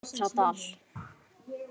Otradal